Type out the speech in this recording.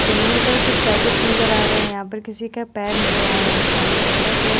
जमीन पर कुछ पैकेट्स नज़र आ रहे है यहाँ पर किसी के पैर नज़र आ रहा है सामने सड़क है।